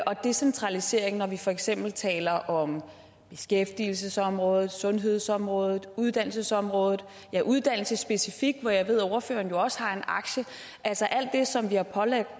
og decentralisering når vi for eksempel taler om beskæftigelsesområdet sundhedsområdet uddannelsesområdet ja uddannelse specifikt hvor jeg ved ordføreren også har en aktie altså det som vi har pålagt